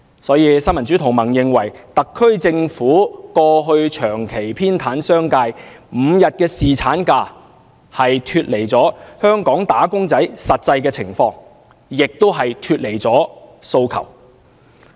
所以，新民主同盟認為，特區政府過去長期偏袒商界 ，5 天侍產假根本脫離了香港"打工仔"的實際需要和訴求。